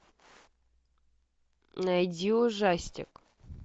найди ужастик